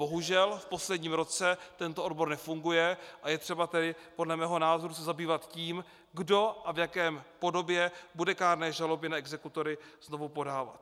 Bohužel v posledním roce tento obor nefunguje, a je třeba tedy podle mého názoru se zabývat tím, kdo a v jaké podobě bude kárné žaloby na exekutory znovu podávat.